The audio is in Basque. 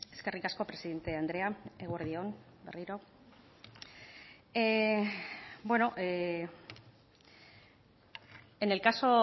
eskerrik asko presidente andrea eguerdi on berriro en el caso